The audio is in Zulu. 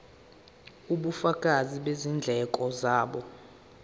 ubufakazi bezindleko zabo